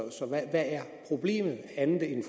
hvad er problemet andet end